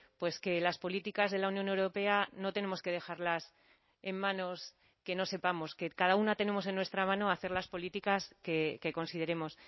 pues que las políticas de la unión europea no tenemos que dejarlas en manos que no sepamos que cada una tenemos en nuestra mano hacer las políticas que consideremos